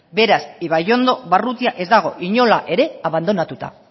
beraz ibaiondo barrutia ez dago inola ere abandonatuta